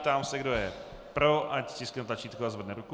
Ptám se, kdo je pro, ať stiskne tlačítko a zvedne ruku.